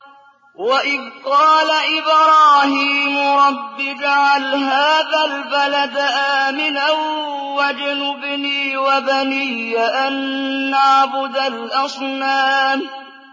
وَإِذْ قَالَ إِبْرَاهِيمُ رَبِّ اجْعَلْ هَٰذَا الْبَلَدَ آمِنًا وَاجْنُبْنِي وَبَنِيَّ أَن نَّعْبُدَ الْأَصْنَامَ